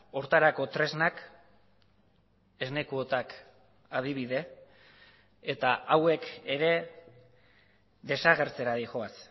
horretarako tresnak esne kuotak adibide eta hauek ere desagertzera doaz